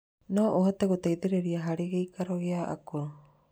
No ũhote gũteithĩrĩria harĩ gĩikaro kĩa akũrũ.